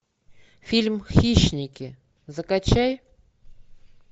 фильм хищники закачай